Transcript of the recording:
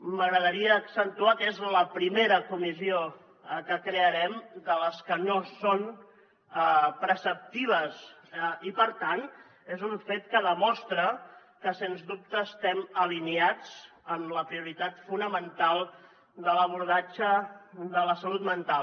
m’agradaria accentuar que és la primera comissió que crearem de les que no són preceptives i per tant és un fet que demostra que sens dubte estem alineats en la prioritat fonamental de l’abordatge de la salut mental